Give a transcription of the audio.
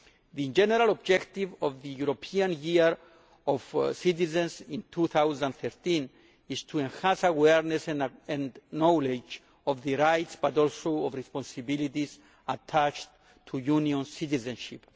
The general objective of the European Year of Citizens in 2013 is to enhance awareness and knowledge of the rights but also of the responsibilities attached to Union citizenship.